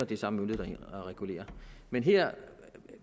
det er samme myndighed der regulerer men her